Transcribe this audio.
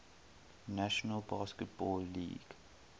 national basketball league